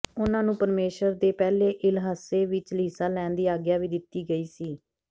ਉਹਨਾਂ ਨੂੰ ਪ੍ਰਮੇਸ਼ਰ ਦੇ ਪਹਿਲੇ ਇਲਹੱਸੇ ਵਿੱਚ ਹਿੱਸਾ ਲੈਣ ਦੀ ਆਗਿਆ ਵੀ ਦਿੱਤੀ ਗਈ ਸੀ